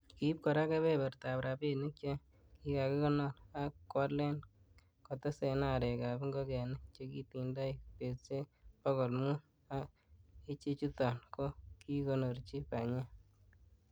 Kiib kora kebebertab rabinik che kikakonor, ak koalen kotesen arek ab ingogenik chekitindoi betusiek bogol mut, ak ichechuton ko kikonoorchi banyek.